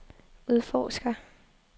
udforsker